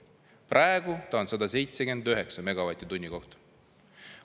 Praegu ta on 179 megavatti tunni kohta.